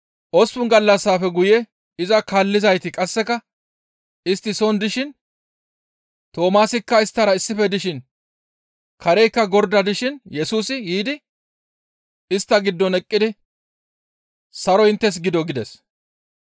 Osppun gallassafe guye iza kaallizayti qasseka istti soon dishin, Toomaasikka isttara issife dishin; kareykka gordan dishin Yesusi yiidi istta giddon eqqidi, «Saroy inttes gido!» gides.